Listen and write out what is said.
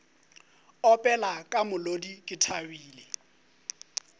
opela ka molodi ke thabile